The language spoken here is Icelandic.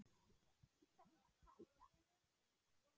Á þessu þarf að taka.